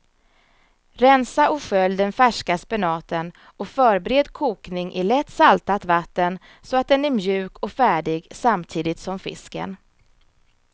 Rensa och skölj den färska spenaten och förbered kokning i lätt saltat vatten så att den är mjuk och färdig samtidigt som fisken.